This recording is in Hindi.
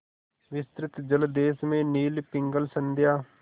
विस्तृत जलदेश में नील पिंगल संध्या